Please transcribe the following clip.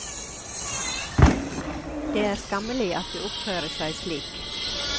Det er skammelig at de oppfører seg slik.